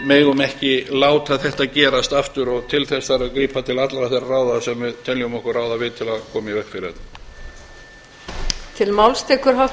megum ekki láta þetta gerast aftur og til þess þarf að grípa til allra þeirra ráða sem við teljum okkur ráða við til að koma í veg fyrir þetta